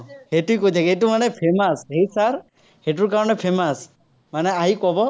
সেইটোৱেই কৈ থাকে, সেইটো মানে famous, সেই sir সেইটোৰ কাৰণে famous, মানে আহি ক'ব।